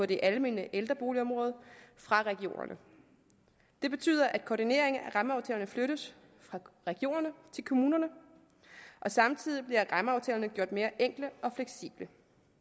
det almene ældreboligområde fra regionerne det betyder at koordinering af rammeaftalerne flyttes fra regionerne til kommunerne samtidig bliver rammeaftalerne gjort mere enkle og fleksible